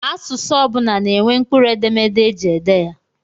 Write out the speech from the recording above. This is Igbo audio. Asụsụ ọ bụla na-enwe mkpụrụ edemede eji ede ya.